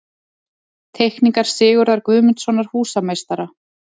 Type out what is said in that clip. Teikningar Sigurðar Guðmundssonar, húsameistara.